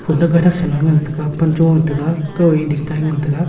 kuta gata shonghu ngan taga pancho taga kao ding tai ngan taga.